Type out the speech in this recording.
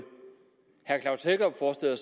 herre